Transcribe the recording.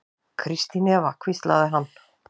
Kristín Eva hvíslaði hann.